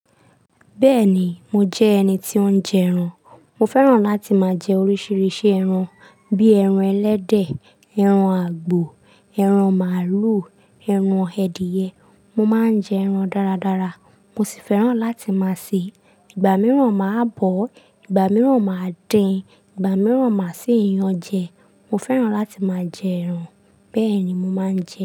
Bẹ́ẹ̀ ni, mo jẹ́ ẹni tí ó ń jẹ ẹran. Mo fẹ́ràn láti máa jẹ oríṣiiríṣii ẹran bí ẹran ẹlẹ́dẹ̀, ẹran àgbò, ẹran màlúù, ẹran ẹ̀dìyẹ. Mo máa ń jẹ ẹran dáradára, mo sì fẹ́ràn láti máa sè é. Ìgbà mìíràn màá bọ́, ìgbà mìíràn màá dín, ìgbà mìíràn màá sì yan an jẹ. Mo fẹ́ràn láti máa jẹ ẹran, bẹ́ẹ̀ ni mo máa ń jẹ ẹran.